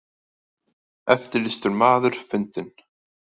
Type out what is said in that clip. Eftirlýstur maður fundinn